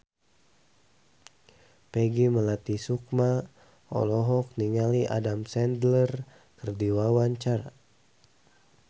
Peggy Melati Sukma olohok ningali Adam Sandler keur diwawancara